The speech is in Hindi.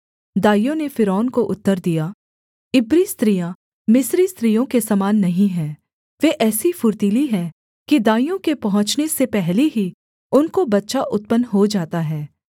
दाइयों ने फ़िरौन को उतर दिया इब्री स्त्रियाँ मिस्री स्त्रियों के समान नहीं हैं वे ऐसी फुर्तीली हैं कि दाइयों के पहुँचने से पहले ही उनको बच्चा उत्पन्न हो जाता है